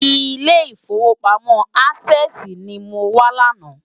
Ilé Ifówópámò Ásèsi ni mó wá làná